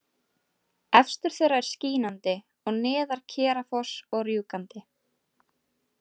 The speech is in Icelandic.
Efstur þeirra er Skínandi og neðar Kerafoss og Rjúkandi.